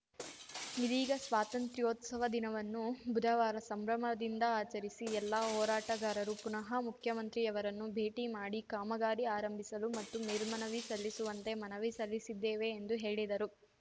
ಇದೀಗ ಸ್ವಾತಂತ್ರೋತ್ಸವ ದಿನವನ್ನು ಬುಧವಾರ ಸಂಭ್ರಮದಿಂದ ಆಚರಿಸಿ ಎಲ್ಲ ಹೋರಾಟಗಾರರು ಪುನಃ ಮುಖ್ಯಮಂತ್ರಿಯವರನ್ನು ಭೇಟಿ ಮಾಡಿ ಕಾಮಗಾರಿ ಆರಂಭಿಸಲು ಮತ್ತು ಮೇಲ್ಮನವಿ ಸಲ್ಲಿಸುವಂತೆ ಮನವಿ ಸಲ್ಲಿಸಲಿದ್ದೇವೆ ಎಂದು ಹೇಳಿದರು